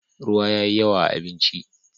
ruwa yayi yawa a abinci